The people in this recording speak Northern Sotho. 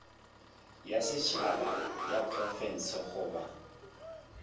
ya setšhaba ya diprofense goba